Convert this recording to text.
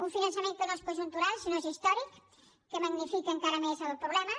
un finançament que no és conjuntural sinó que és històric que magnifica encara més el problema